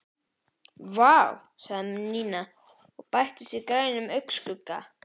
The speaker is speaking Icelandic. Vá sagði Nína og bætti á sig grænum augnskugga.